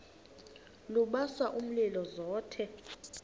lubasa umlilo zothe